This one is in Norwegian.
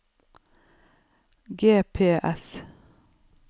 GPS